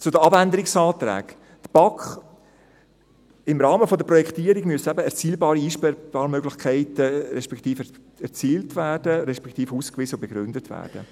Zu den Abänderungsanträgen: Im Rahmen der Projektierung müssen eben erzielbare Einsparmöglichkeiten erzielt werden, respektive ausgewiesen und begründet werden.